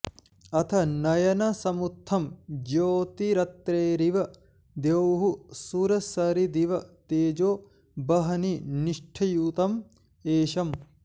अथ नयनसमुत्थं ज्योतिरत्रेरिव द्यौः सुरसरिदिव तेजो वह्निनिष्ठ्यूतं ऐशं